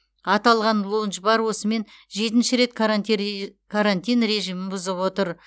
аталған лоундж бар осымен жетінші рет карантин режимін бұзып отыр